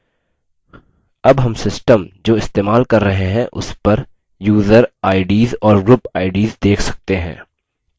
अब हम system जो इस्तेमाल कर रहे हैं उस पर user ids और group ids देख सकते हैं